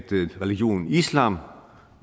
religionen islam